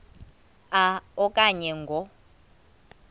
a okanye ngo